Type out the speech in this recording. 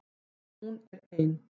Hún er ein.